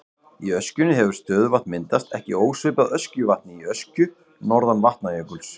Í öskjunni hefur stöðuvatn myndast, ekki ósvipað Öskjuvatni í Öskju norðan Vatnajökuls.